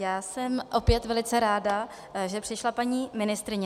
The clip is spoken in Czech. Já jsem opět velice ráda, že přišla paní ministryně.